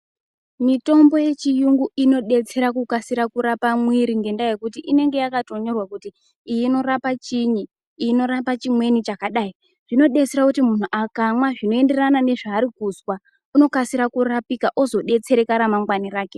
Mitombo yechiyungu inodetsere kukasire kurapa mwiri ngendaa yekuti inenge yakatonyorwa kuti iyi inorapa chinyi iyi inorapa chimweni chakadai zvinodetsere kuti muntu akamwa zvinoenderane nezvaari kuzwa unokasira kurapika ozodetsereka ramangwani rake.